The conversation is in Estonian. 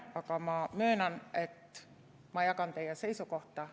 Aga ma möönan, et ma jagan teie seisukohta.